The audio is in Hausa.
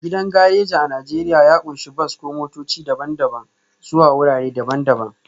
Gidan gareji a Najeriya ya ƙunshi bas ko motoci daban-daban zuwa wurare daban-daban